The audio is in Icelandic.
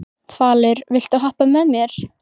Falur, viltu hoppa með mér?